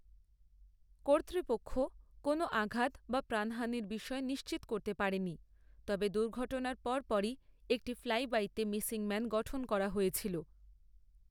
কর্তৃপক্ষ কোন আঘাত বা প্রাণহানির বিষয় নিশ্চিত করতে পারেনি, তবে দুর্ঘটনার পরপরই একটি ফ্লাইবাইতে মিসিং ম্যান গঠন করা হয়েছিল।